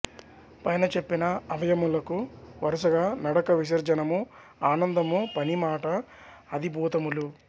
పైన చెప్పిన అవయవములకు వరుసగా నడక విసర్జనము ఆనందము పని మాట అధిభూతములు